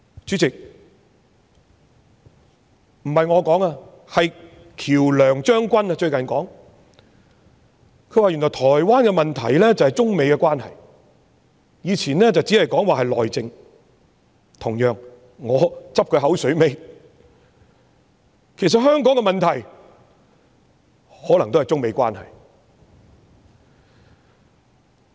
主席，喬良將軍最近說原來台灣的問題便是中美關係，以前這只會說是內政，同樣地，我拾他牙慧，其實香港的問題可能也是中美關係。